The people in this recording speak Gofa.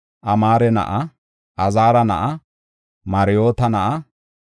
Amaare na7a; Azaara na7a; Marayoota na7a;